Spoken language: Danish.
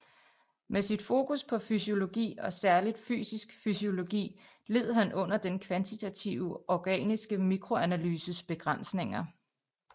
Med sit fokus på fysiologi og særligt fysisk fysiologi led han under den kvantitative organiske mikroanalyses begrænsninger